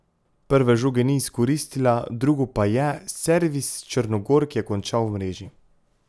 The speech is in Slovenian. Prve žoge ni izkoristila, drugo pa je, servis Črnogork je končal v mreži.